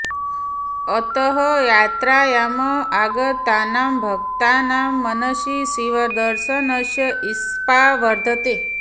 अतः यात्रायाम् आगतानां भक्तानां मनसि शिवदर्शनस्य ईप्सा वर्धते